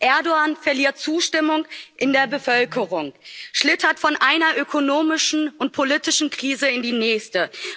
Erdoğan verliert Zustimmung in der Bevölkerung, schlittert von einer ökonomischen und politischen Krise in die nächste.